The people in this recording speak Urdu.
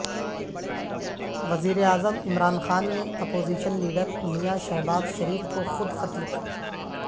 وزیراعظم عمران خان نے اپوزیشن لیڈر میاں شہباز شریف کو خود خط لکھا